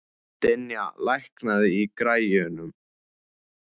Dynja, lækkaðu í græjunum.